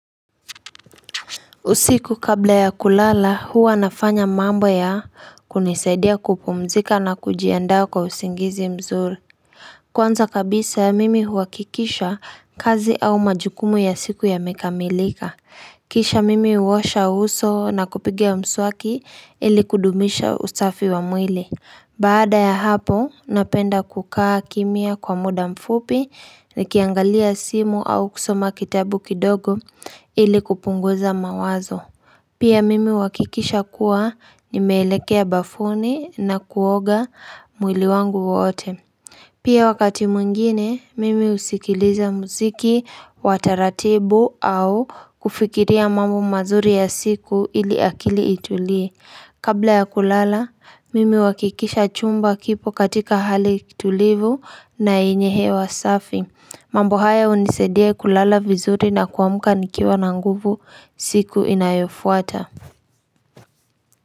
Usiku kabla ya kulala, huwa nafanya mambo ya kunisaidia kupumzika na kujiandaa kwa usingizi mzuri. Kwanza kabisa ya mimi huakikisha kazi au majukumu ya siku ya imekamilika. Kisha mimi uosha uso na kupigia mswaki ili kudumisha ustafi wa mwili. Baada ya hapo, napenda kukaa kimia kwa muda mfupi ni kiangalia simu au kusoma kitabu kidogo ili kupunguza mawazo. Pia mimi wakikisha kuwa nimeelekea ubafuni na kuoga mwili wangu wote Pia wakati mwingine mimi usikiliza mziki wataratibu au kufikiria mambo mazuri ya siku ili akili itulie Kabla ya kulala mimi wakikisha chumba kipo katika hali kitulivu na inyehe wa safi mambo haya unisadia kulala vizuri na kuamka nikiwa na nguvu siku inayofuata.